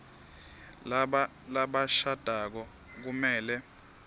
laba labashadako kumele